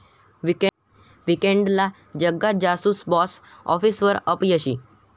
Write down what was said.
वीकेण्डला 'Jagga Jasoos' box आॅफिसवर अपयशी